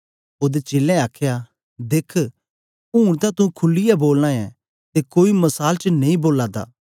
ओदे चेलें आखया देख ऊन तां तू खुलीयै बोलना ऐं ते कोई मसाल च नेई बोला दा